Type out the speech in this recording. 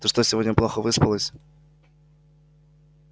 ты что сегодня плохо выспалась